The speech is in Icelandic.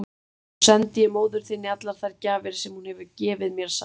Nú sendi ég móður þinni allar þær gjafir sem hún hefur gefið mér, sagði hún.